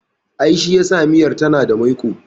I, shi yasa miyar tana da maiƙo